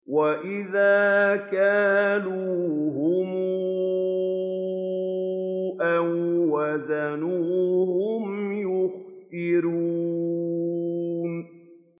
وَإِذَا كَالُوهُمْ أَو وَّزَنُوهُمْ يُخْسِرُونَ